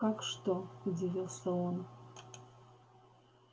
как что удивился он